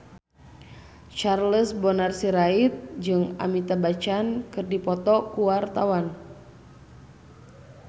Charles Bonar Sirait jeung Amitabh Bachchan keur dipoto ku wartawan